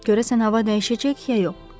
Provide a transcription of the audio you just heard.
Görəsən hava dəyişəcək ya yox.